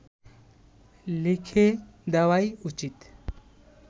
লিখে দেওয়াই উচিত